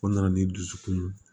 O nana ni dusukun ye